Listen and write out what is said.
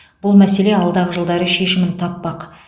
бұл мәселе алдағы жылдары шешімін таппақ